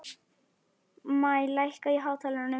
Maj, lækkaðu í hátalaranum.